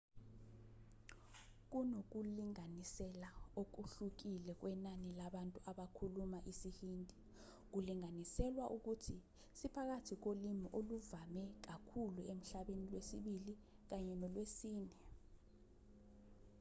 kunokulinganisela okuhlukile kwenani labantu abakhuluma isihindi kulinganiselwa ukuthi siphakathi kolimi oluvame kakhulu emhlabeni lwesibili kanye nolwesine